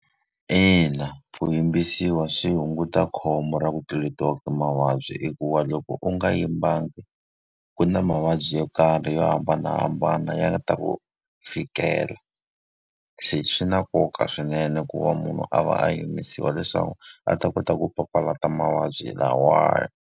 Ina ku yimbisiwa swi hunguta khombo ra ku tluletiwaka ti mavabyi hikuva loko u nga yimbangi, ku na mavabyi yo karhi yo hambanahambana ya nga ta ku fikela. Se swi na nkoka swinene ku va munhu a va a yimbisiwa leswaku a ta kota ku papalata mavabyi lawaya.